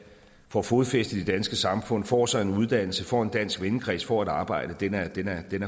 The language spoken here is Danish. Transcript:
får fodfæste i det danske samfund får sig en uddannelse får en dansk vennekreds får et arbejde